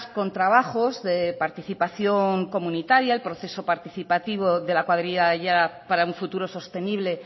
con trabajos de participación comunitaria el proceso participativo de la cuadrilla de aiara para un futuro sostenible